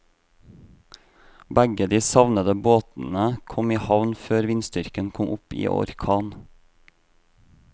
Begge de savnede båtene kom i havn før vindstyrken kom opp i orkan.